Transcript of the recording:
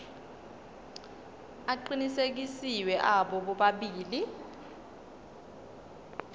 aqinisekisiwe abo bobabili